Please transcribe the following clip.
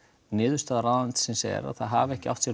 niðurstaða ráðuneytisins er að það hafi ekki átt sér